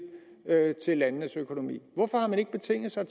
til landenes økonomi hvorfor har man ikke betinget sig